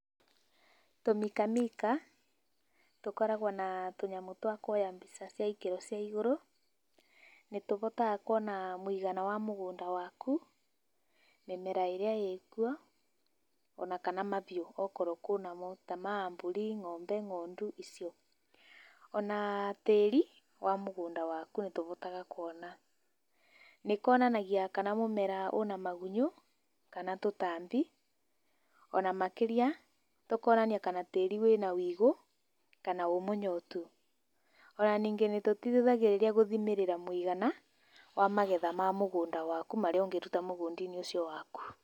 Tũmĩka mĩka tũkoragwo na tũnyamũ twa kũoya mbĩca cĩa ĩkĩro cĩa ĩgũrũ, nĩ tũhotaga kũona mũĩgana wa mũgũnda wakũ mĩmera ĩrĩa ĩkuo ona kana mahĩũ, okoro kwĩna mo ta a ma mbũrĩ, ng’ombe, ngondũ icio. Ona tarĩ wa mũgũnda wakũ nĩ tũhotaga kũona. Nĩ kaonanagĩa kana mumera wĩna magũnyo kana tũtambĩ, ona makĩrĩa tũkaonanĩa kana tarĩ wĩna wĩũgũ kana wĩ mũnyotũ, ona nĩngĩ nĩ tũteĩthagĩa kũthĩmĩrĩra mũĩgana wa magetha ma mũgũnda wakũ marĩa ũngĩrũta mũgũnda-inĩ ũcio wakũ.